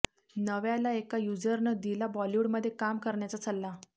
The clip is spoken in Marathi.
नव्याला एका युझरनं दिला बॉलिवूडमध्ये काम करण्याचा सल्ला